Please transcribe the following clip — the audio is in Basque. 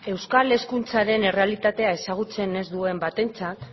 euskal hezkuntzaren errealitatea ezagutzen ez duen batentzat